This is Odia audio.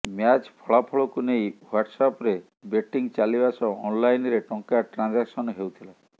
ମ୍ୟାଚ୍ର ଫଳାଫଳକୁ ନେଇ ୱାଟସ୍ଆପ୍ରେ ବେଟିଂ ଚାଲିବା ସହ ଅନ୍ଲାଇନ୍ରେ ଟଙ୍କା ଟ୍ରାଞ୍ଜାକସନ୍ ହେଉଥିଲା